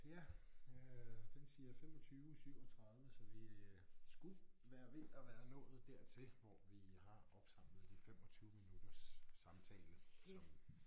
Ja øh den siger 25 37 så vi skulle være ved at være nået dertil hvor vi har opsamlet de 25 minutters samtale som